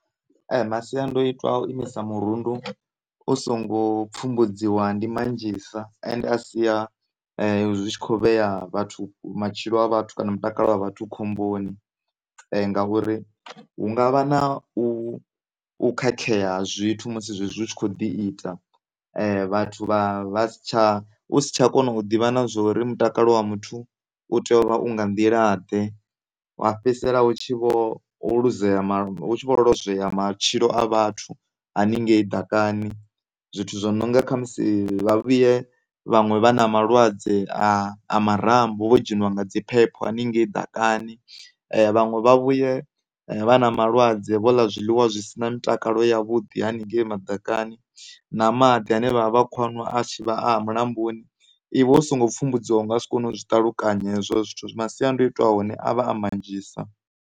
Masiandoitwa a u imisa murundu u songo pfhumbudziwa ndi manzhisa ende a sia zwi tshi kho vhea vhathu, kana matshilo a vhathu kana mutakalo wa khomboni, ngauri hu ngavha na u, u khakhea ha zwithu musi zwezwi zwi tshi kho ḓi ita vhathu vha si tsha, u si tsha kona u ḓivha na zwori mutakalo wa muthu u tea u nga nḓila ḓe wa fhedzisela u tshi vho luzea, hu tshi vho lwozwea matshilo a vhathu haningei ḓakani. Zwithu zwo nonga khamusi vha vhuye vhaṅwe vha na malwadze a marambo vho dzhenwa nga dzi phepho haningei ḓakani vhaṅwe vha vhuye vha na malwadze vho ḽa zwiḽiwa zwi si na mutakalo yavhuḓi haningei maḓakani na maḓi ane vha vha vha tshi kho a nwa a tshivha a a mulamboni, iwe u songo pfhumbudziwa u ngasi kone u zwi ṱalukanya hezwo zwithu masiandoitwa ahone avha a manzhisa.